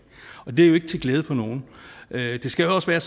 og det er jo ikke til glæde for nogen det skal jo også være